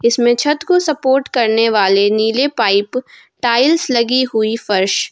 इसमें छत को सपोर्ट करने वाले नीले पाइप टाइल्स लगी हुई फर्श --